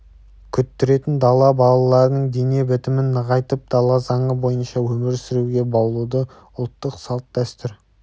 күттіретін дала балаларының дене бітімін нығайтып дала заңы бойынша өмір сүруге баулуды ұлттық салт-дәстүр